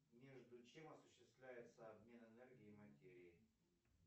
между чем осуществляется обмен энергии и материи